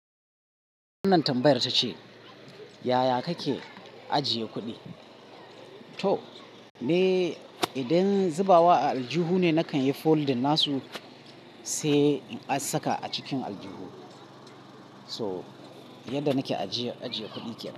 Wannan tambayar ta ce, yaya kake ajiye kuɗi? To, me idan zubawa a aljihu ne, nakan yi folding nasu sai a saka a cikin aljihu. So, yadda nake ajiye, ajiye kuɗi kenan.